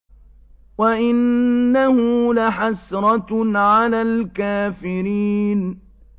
وَإِنَّهُ لَحَسْرَةٌ عَلَى الْكَافِرِينَ